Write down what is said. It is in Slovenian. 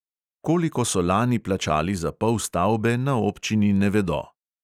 Koliko so lani plačali za pol stavbe, na občini ne vedo.